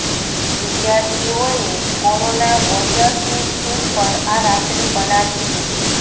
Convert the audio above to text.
વિદ્યાર્થીઓએ કોરોના વોરિયર્સની થીમ પર આ રાખડી બનાવી છે